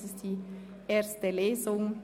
Es ist die erste Lesung.